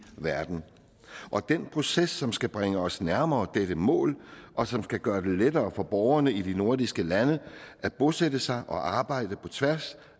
verden det er en proces som skal bringe os nærmere dette mål og som skal gøre det lettere for borgerne i de nordiske lande at bosætte sig og arbejde på tværs